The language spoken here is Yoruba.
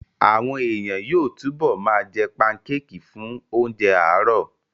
Àwọn èèyàn yóò túbọ̀ ma jẹ́ pankéèkì fún oúnjẹ àárọ̀